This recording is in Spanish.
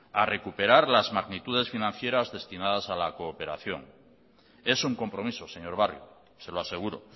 a recuperar las magnitudes financieras destinadas a la cooperación es un compromiso señor barrio se lo aseguro